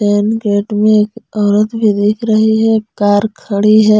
Main gate में एक औरत भी दिख रही है कार खड़ी है।